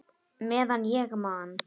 Meðan ég man!